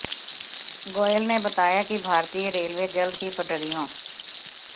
गोयल ने बताया कि भारतीय रेलवे जल्द ही पटरियों